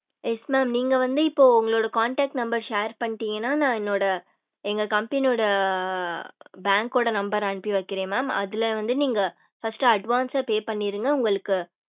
yes mam நீங்க வந்து உங்களோட contact number ர share பண்ணிடிங்கனா நா என்னோட எங்க company ஓட bank ஓட number ர அனுப்பி வைக்குர mam அதுல வந்து நீங்க first advance ஆஹ் pay பண்ணிருங்க உங்களுக்கு